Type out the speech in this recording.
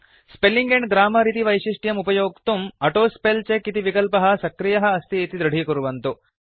spelling and grammar इति वैशिष्ट्यम् उपयोक्तुं ऑटोस्पेलचेक इति विकल्पः सक्रियः अस्ति इति दृढीकुर्वन्तु